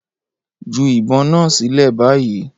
Ju ìbọn náà sílẹ̀ báyìí!